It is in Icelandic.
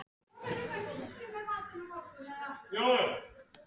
Álftavík, Húsavík eystra og á Eyri í Hvalfirði.